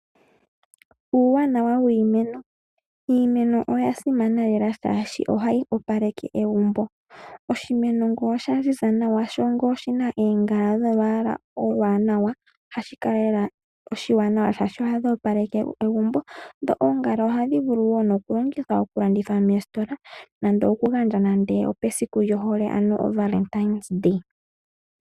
Uuwanawa wiimeno, iimeno oya simana lela shaashi ohayi opaleke egumbo. Oshimeno ngele osha ziza nawa sho oshina oongala dholwaala olwaanawa, ohashi kala lela oshiwanawa shaashi ohadhi opaleke egumbo dho oongala ohadhi vulu woo nokulongithwa okulandithwa moositola nande opesiku lyohole ano ovalentine.